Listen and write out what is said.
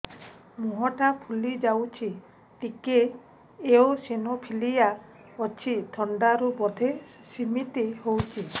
ମୁହଁ ଟା ଫୁଲି ଯାଉଛି ଟିକେ ଏଓସିନୋଫିଲିଆ ଅଛି ଥଣ୍ଡା ରୁ ବଧେ ସିମିତି ହଉଚି